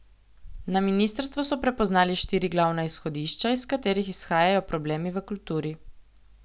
Na ministrstvu so prepoznali štiri glavna izhodišča, iz katerih izhajajo problemi v kulturi.